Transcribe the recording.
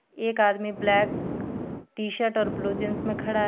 एक आदमी black T-shirt और ब्लू जींस में खड़ा है.